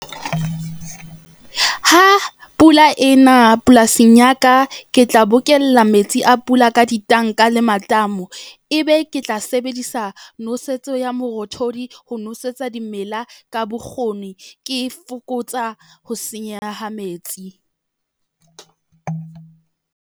Ha pula e na polasing ya ka, ke tla bokella metsi a pula ka ditanka le matamo, ebe ke tla sebedisa nosetso ya morothodi, ho nosetsa dimela ka bokgoni, ke fokotsa ho senyeha ha metsi.